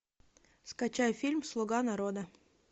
скачай фильм слуга народа